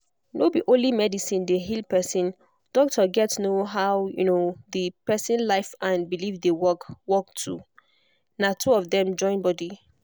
no be only medicine dey heal person doctor gats know how um the person life and belief dey work work too. na two of dem join body.